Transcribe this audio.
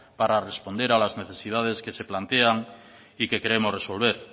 para responder a las necesidades que se plantean y que queremos resolver